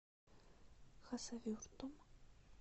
хасавюртом